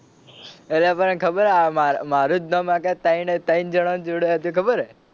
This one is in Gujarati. અલ્યા તને ખબર મારુ મારા જ નામ આગળ ત્રણ ત્રણ જણાં નું જોડે હતું એ ખબર હે.